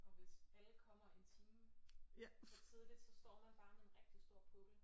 Og hvis alle kommer en time for tidligt så står man bare med en rigtig stor pukkel